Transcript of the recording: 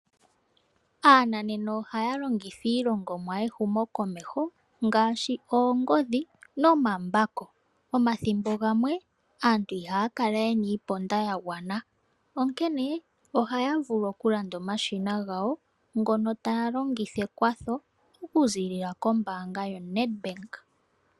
Aananena ohaa longitha iilongomwa yehumokomeho ngaashi oongodhi nomambako. Omathimbo gamwe, aantu ihaa kala ye na iiponda ya gwana, onkene ohaya vulu okulanda omashina gawo ngono taya longitha ekwatho okuziilila kombaanga yoNedbank.